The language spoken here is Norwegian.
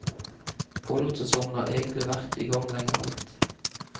Pollensesongen har egentlig vært i gang lenge alt.